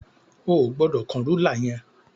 O ò gbọdọ̀ kán rúlà yẹn.